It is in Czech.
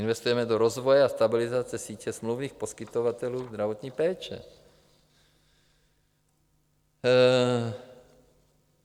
Investujeme do rozvoje a stabilizace sítě smluvních poskytovatelů zdravotní péče.